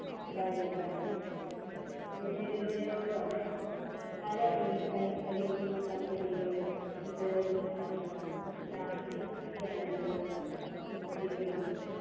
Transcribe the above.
കഴിക്കണം പുനരുപയോഗം പല recycling company കളും ഉപയോഗിച്ച plastic can കളും കുപ്പികളും